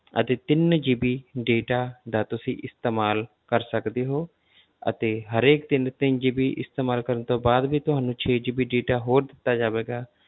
ਅਤੇ ਤਿੰਨ GB data ਦਾ ਤੁਸੀ ਇਸਤੇਮਾਲ ਕਰ ਸਕਦੇ ਹੋ ਅਤੇ ਹਰੇਕ ਦਿਨ ਤਿੰਨ GB ਇਸਤੇਮਾਲ ਕਰਨ ਤੋਂ ਬਾਅਦ ਵੀ ਤੁਹਾਨੂੰ ਛੇ GB data ਹੋਰ ਦਿੱਤਾ ਜਾਵੇਗਾ,